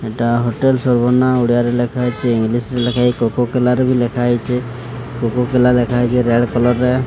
ଏଟା ହୋଟେଲ୍ ସବୁ ନାଁ ଓଡ଼ିଆରେ ଲେଖା ହେଇଛି। ଇଂଲିଶ ରେ ଲେଖା ହେଇ। କୋକୋ କଲା ରେ ଲେଖା ହେଇଚେ। କୋକୋ-କଲା ଲେଖା କୋକୋ ରେଡ୍ କଲର୍ ରେ।